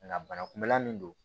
Nka bana kunbɛla min don